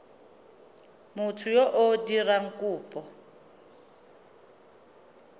motho yo o dirang kopo